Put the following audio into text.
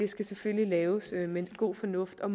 skal selvfølgelig laves med god fornuft og